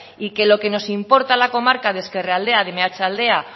y que lo que nos importa la comarca de ezkerraldea de meatzaldea